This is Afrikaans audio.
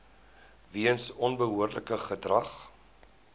weens onbehoorlike gedrag